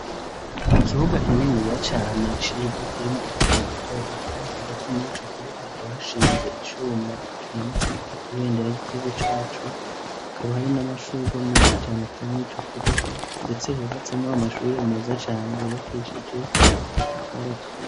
Ikibuga kininiya cane civu kirimwo utubuye duto duto hagati muri ico kibuga hakaba hashinze icuma kimanutseko ibendera ry'igihugu cacu hakaba hari n'amashugwe menshi cane ateye mw'ico kibuga ndetse hubatsemwo amashure meza cane yubakishijwe amatafari aturiye.